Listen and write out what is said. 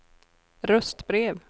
röstbrev